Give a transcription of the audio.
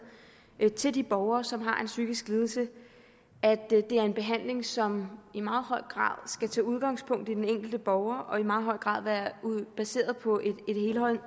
til de borgere som har en psykisk lidelse at det er en behandling som i meget høj grad skal tage udgangspunkt i den enkelte borger og i meget høj grad være baseret på en